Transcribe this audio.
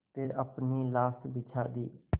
फिर अपनी लाश बिछा दी